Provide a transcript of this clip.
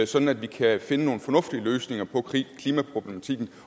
sådan at vi kan finde nogle fornuftige løsninger på klimaproblematikken